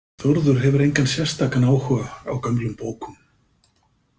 Þórður hefur engan sérstakan áhuga á gömlum bókum.